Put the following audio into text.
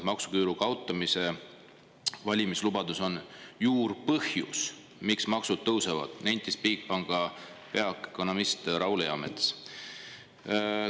"Maksuküüru kaotamise valimislubadus on juurpõhjus, miks maksud tõusevad," nentis Bigbanki peaökonomist Raul Eamets.